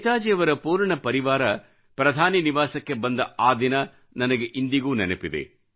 ನೇತಾಜಿಯವರ ಪೂರ್ಣ ಪರಿವಾರ ಪ್ರಧಾನಮಂತ್ರಿ ನಿವಾಸಕ್ಕೆ ಬಂದ ಆ ದಿನ ನನಗೆ ಇಂದಿಗೂ ನೆನಪಿದೆ